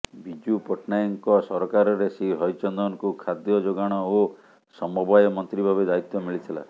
ବିଜୁ ପଟ୍ଟନାୟକଙ୍କ ସରକାରରେ ଶ୍ରୀ ହରିଚନ୍ଦନଙ୍କୁ ଖାଦ୍ୟ େଯାଗାଣ ଓ ସମବାୟ ମନ୍ତ୍ରୀ ଭାବେ ଦାୟିତ୍ବ ମିଳିଥିଲା